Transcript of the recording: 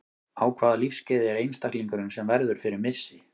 Á hvaða lífsskeiði er einstaklingurinn sem verður fyrir missi?